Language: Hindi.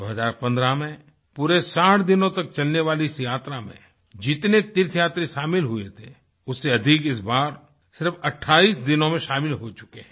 2015 में पूरे 60 दिनों तक तक चलने वाली इस यात्रा में जितने तीर्थयात्री शामिल हुए थे उससे अधिक इस बार सिर्फ 28 दिनों में शामिल हो चुके हैं